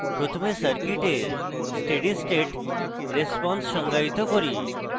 প্রথমে circuit steady state response সংজ্ঞায়িত করি